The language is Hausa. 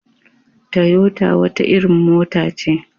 Toyota wata irin mota ce.